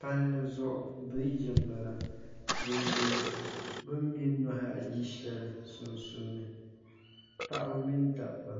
palli zuɣu biriiji m-bala din be bɛ ni me nuhi ayi shɛli sunsuuni paɣaba mini dabba